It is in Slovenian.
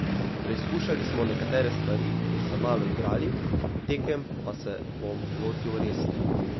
Preizkušali smo nekatere stvari in se malo igrali, tekem pa se bom lotil resno.